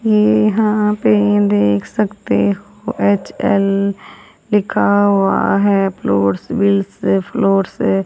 ये यहां पे देख सकते हो एच_एल लिखा हुआ है फ्लोर बिल से फ्लोर से।